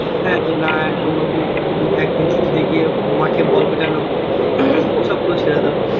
হ্যাঁ যে না একদিন ছুটিতে গিয়ে মাঠে বল পেটানো ওসব তো ছেড়ে দাও